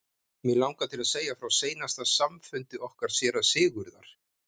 Mig langar til að segja frá seinasta samfundi okkar séra Sigurðar.